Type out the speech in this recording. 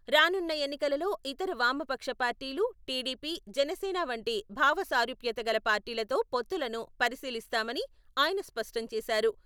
రానున్న ఎన్నికలలో ఇతర వామపక్ష పార్టీలు, టీడీపీ, జనసేన వంటి భావసారూప్యత గల పార్టీలతో పొత్తులను పరిశీలిస్తామని ఆయన స్పష్టంచేశారు.